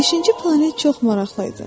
Beşinci planet çox maraqlı idi.